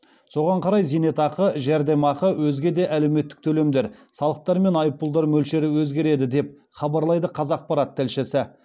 соған қарай зейнетақы жәрдемақы өзге де әлеуметтік төлемдер салықтар мен айыппұлдар мөлшері өзгереді деп хабарлайды қазақпарат тілшісі